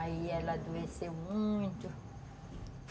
Aí ela adoeceu muito.